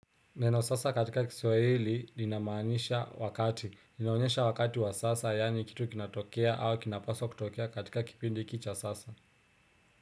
Neno sasa katika kiswahili linamaanisha wakati. Linaonyesha wakati wa sasa yaani kitu kinatokea au kinapaswa kutokea katika kipindi hiki cha sasa.